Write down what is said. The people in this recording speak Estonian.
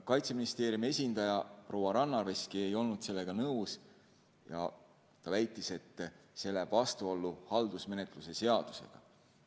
Kaitseministeeriumi esindaja proua Rannaveski ei olnud sellega nõus ja väitis, et see läheb vastuollu haldusmenetluse seadusega.